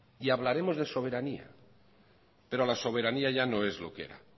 y hablaremos de soberanía pero la soberanía ya no es lo que era